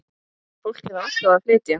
Fólkið var alltaf að flytja.